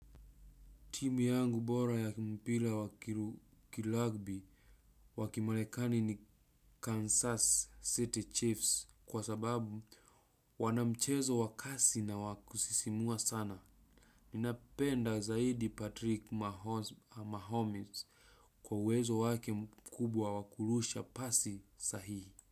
Timu yangu bora ya kimpira wakirugbi wakimarekani ni Kansas City Chiefs kwa sababu wana mchezo wa kasi na wa kusisimua sana. Ninapenda zaidi Patrick Mahomes kwa uwezo wake mkubwa wakurusha pasi sahihi.